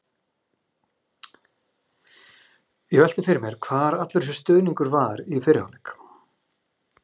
Ég velti því fyrir mér hvar allur þessi stuðningur var í fyrri hálfleik?